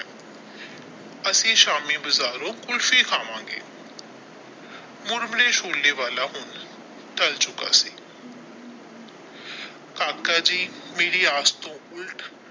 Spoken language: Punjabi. ਅਸੀਂ ਸ਼ਾਮੀ ਬਾਜਾਰੋ ਕੁਲਫੀ ਖਾਵਾਂਗੇ ਮੁਰਮੁਰੇ ਛੋਲੇ ਵਾਲਾ ਹੁਣ ਟਲ ਚੁੱਕਾ ਸੀ ਕਾਕਾ ਜੀ ਮੇਰੀ ਆਸ ਟੋ ਉੱਲਟ।